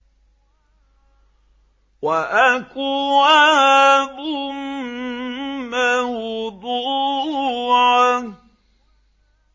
وَأَكْوَابٌ مَّوْضُوعَةٌ